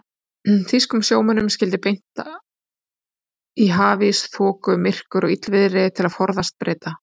Þýskum sjómönnum skyldi beint í hafís, þoku, myrkur og illviðri til að forðast Breta.